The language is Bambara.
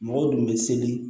Mɔgɔw dun bɛ seli